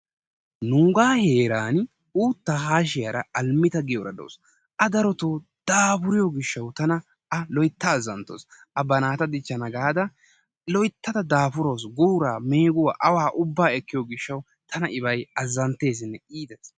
Nuuga heeran uuttaa haashiyara alemito giyora de"awusu. A darotoo daafuriyo gishshawu tana a loytta azzanttawus. A ba naata dichchana gaada loyttada daafurawusu guuraa meeguwa awaa ubbaa ekkiyo gishshawu tana ibayi azzantteesinne iites.